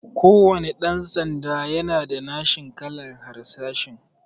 Kuwanna ɗan sanda yana da nashin kalan harsashi